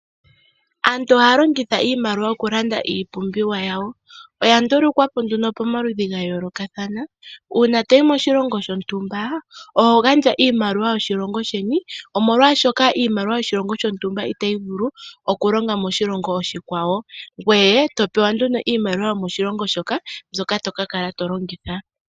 Aantu ohaya longitha iimaliwa mokulanda iipumbiwa yawo oya ndulukwapo nduno pomaludhi gayoolokathana uuna toyi moshilongo shontumba oho gandja iimaaliwa yoshilongo sheni omolwaashoka iimaliwa yoshilongo shontumba itayi vulu okulonga moshilongo oshikwawo ngoye topewa nduno iimaliwa yomoshilongo shoka mboka tokala tolongitha.